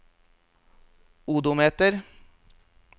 odometer